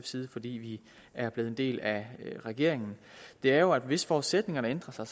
side fordi vi er blevet en del af regeringen er jo at hvis forudsætningerne ændrer sig